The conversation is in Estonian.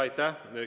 Aitäh!